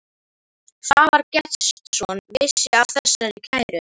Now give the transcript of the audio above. Svavar Gestsson vissi af þessari kæru.